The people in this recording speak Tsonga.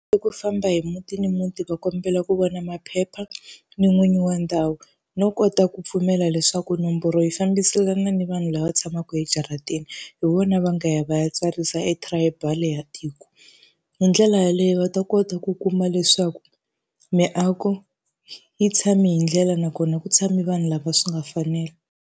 I ku famba hi muti ni muti va kombela ku vona maphepha, ni n'winyi wa ndhawu. No kota ku pfumela leswaku nomboro yi fambiselana ni vanhu lava tshamaka ejarateni, hi vona va nga ya va ya tsarisa e-tribal ya tiko. Hi ndlela yaleyo va ta kota ku kuma leswaku miako yi tshame hi ndlela nakona ku tshame vanhu lava swi nga fanela.